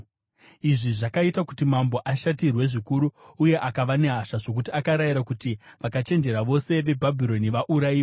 Izvi zvakaita kuti mambo ashatirwe zvikuru uye akava nehasha zvokuti akarayira kuti vakachenjera vose veBhabhironi vaurayiwe.